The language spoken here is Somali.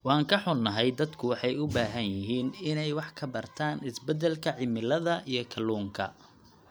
Waan ka xunnahay, dadku waxay u baahan yihiin inay wax ka bartaan isbeddelka cimilada iyo kalluunka.